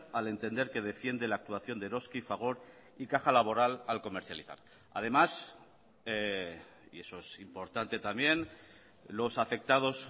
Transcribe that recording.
al entender que defiende la actuación de eroski fagor y caja laboral al comercializar además y eso es importante también los afectados